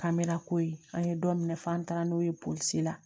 K'an bɛ lako ye an ye dɔ minɛ f'an taara n'o ye polisi la